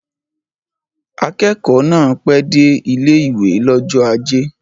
Akẹ́kọ̀ọ́ náà pẹ́ dé ilé-ìwé l'ọ́jọ́ ajé